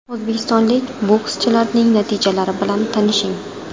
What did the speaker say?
O‘zbekistonlik bokschilarning natijalari bilan tanishing: !